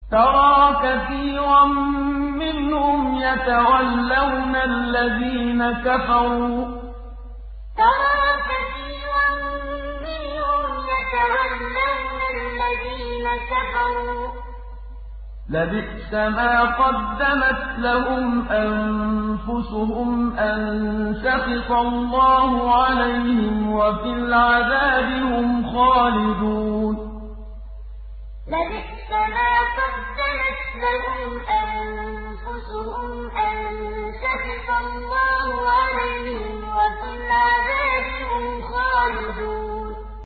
تَرَىٰ كَثِيرًا مِّنْهُمْ يَتَوَلَّوْنَ الَّذِينَ كَفَرُوا ۚ لَبِئْسَ مَا قَدَّمَتْ لَهُمْ أَنفُسُهُمْ أَن سَخِطَ اللَّهُ عَلَيْهِمْ وَفِي الْعَذَابِ هُمْ خَالِدُونَ تَرَىٰ كَثِيرًا مِّنْهُمْ يَتَوَلَّوْنَ الَّذِينَ كَفَرُوا ۚ لَبِئْسَ مَا قَدَّمَتْ لَهُمْ أَنفُسُهُمْ أَن سَخِطَ اللَّهُ عَلَيْهِمْ وَفِي الْعَذَابِ هُمْ خَالِدُونَ